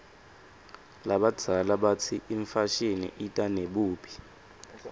labadzala batsi imfashini ita nebubi